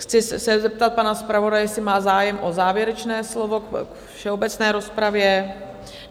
Chci se zeptat pana zpravodaje, jestli má zájem o závěrečné slovo k všeobecné rozpravě?